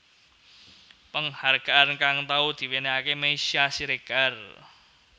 Penghargaan kang tau diwénéhaké Meisya Siregar